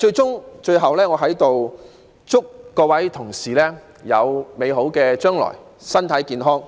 最後，我在此祝願各位有美好的將來、身體健康。